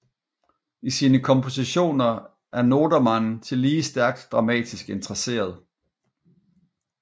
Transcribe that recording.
I sine kompositioner er Nodermann tillige stærkt dramatisk interesseret